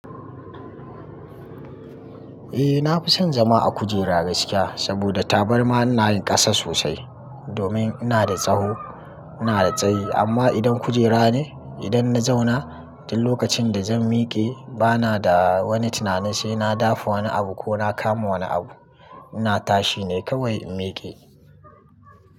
Eh na fi son zama a kujera gaskiya saboda tabarma ina yin ƙasa sosai domin ina da tsaho, ina da tsayi amma idan kujera ne idan na zauna tin lokacin da zan miƙe bana da wani tunani sai na dafa wani abu ko na kama wani abu ina tashi ne kawai in miƙe.